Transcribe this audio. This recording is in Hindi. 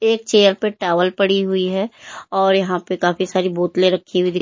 एक चेयर पे टॉवल पड़ी हुई है और यहां पे काफी सारी बोतलें रखी हुई दिख।